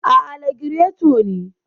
Aa, lagireto ne.